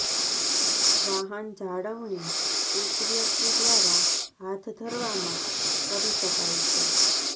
વાહન જાળવણી એક વ્યક્તિ દ્વારા હાથ ધરવામાં કરી શકાય છે